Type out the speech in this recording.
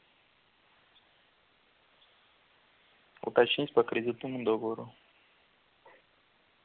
уточнить по кредитному договору